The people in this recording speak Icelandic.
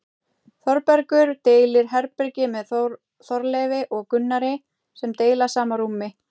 Þórbergur deilir herbergi með Þorleifi og Gunnari sem deila sama rúmi.